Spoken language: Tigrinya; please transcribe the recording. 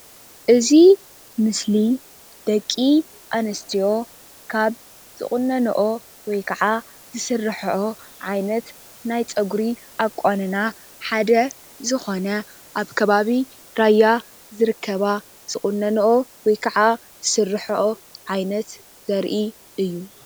ደደቂ ኣንስትዮ ራያ ዝቁነነኦ ቁኖ እዩ።